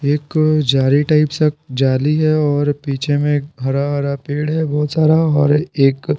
एक जारी टाइप सा जाली है और पीछे में हरा-हरा पेड़ है बहुत सारा और एक---